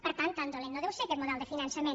per tant tan dolent no deu ser aquest model de finançament